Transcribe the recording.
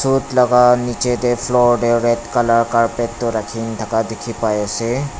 coat laga niche teh floor deh red colour carpet toh rakhina thaka dikhi paiase